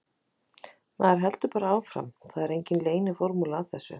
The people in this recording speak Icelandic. Maður heldur bara áfram, það er engin leyniformúla að þessu.